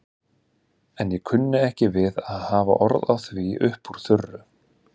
En ég kunni ekki við að hafa orð á því upp úr þurru.